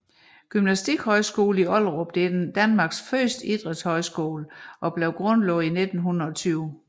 Gymnastikhøjskolen i Ollerup er Danmarks første idrætshøjskole og grundlagt i 1920